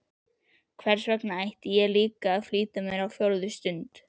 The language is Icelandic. Hversvegna ætti ég líka að flýta mér á fjórðu stund?